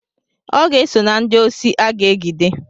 Ọ ga-eso na ndị osi aga-egide.